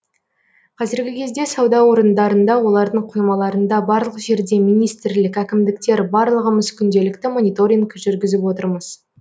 қазіргі кезде сауда орындарында олардың қоймаларында барлық жерде министрлік әкімдіктер барлығымыз күнделікті мониторинг жүргізіп отырмыз